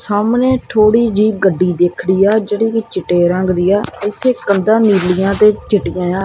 ਸਾਹਮਣੇ ਥੋੜੀ ਜੇਹੀ ਗੱਡੀ ਖੜੀ ਦਿੱਖ ਰਹੀਆ ਜੇਹੜੀ ਚਿੱਟੇ ਰੰਗ ਦੀ ਆ ਏੱਥੇ ਕੰਧਾਂ ਨੀਲੀਆਂ ਤੇ ਚਿੱਟੀਆਂਯਾਂ।